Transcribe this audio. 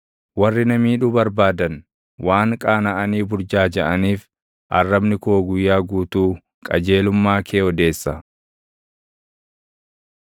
Warri na miidhuu barbaadan, waan qaanaʼanii burjaajaʼaniif arrabni koo guyyaa guutuu qajeelummaa kee odeessa.